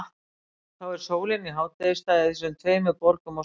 Þá er sólin í hádegisstað í þessum tveimur borgum á sama tíma.